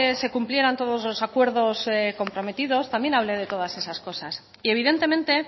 se cumplieran todos los acuerdos comprometidos también hable de todas esas cosas y evidentemente